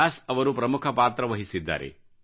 ವ್ಯಾಸ್ ಅವರು ಪ್ರಮುಖ ಪಾತ್ರವಹಿಸಿದ್ದಾರೆ